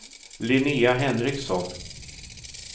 Linnea Henriksson